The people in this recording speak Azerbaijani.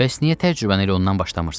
Bəs niyə tərcübəni elə ondan başlamırsız?